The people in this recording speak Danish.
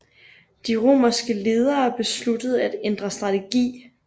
De romerske ledere besluttede at ændre strategi